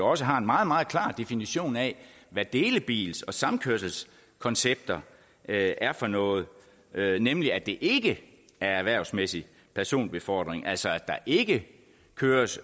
også har en meget meget klar definition af hvad delebils og samkørselskoncepter er er for noget nemlig at det ikke er erhvervsmæssig personbefordring altså at der ikke køres